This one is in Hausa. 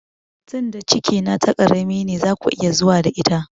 Tinda cikin na ta ƙarami ne zaku iya zuwa da ita